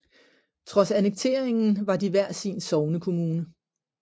Trods annekteringen var de hver sin sognekommune